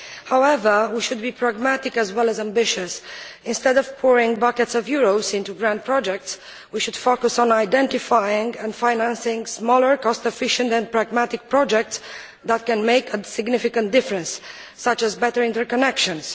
However, we should be pragmatic as well as ambitious. Instead of pouring buckets of euros into grand projects, we should focus on identifying and financing smaller, cost efficient and pragmatic projects that can make a significant difference, such as better interconnections.